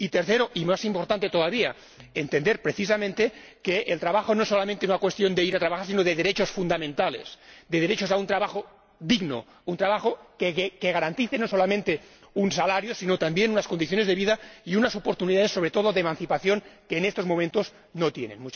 y, tercero, y más importante todavía, entender precisamente que el trabajo no es solamente una cuestión de ir a trabajar sino de derechos fundamentales, de derecho a un trabajo digno, un trabajo que garantice no solamente un salario sino también unas condiciones de vida y unas oportunidades, sobre todo de emancipación, que en estos momentos no tienen.